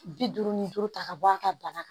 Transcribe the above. Bi duuru ni duuru ta ka bɔ a ka bana kan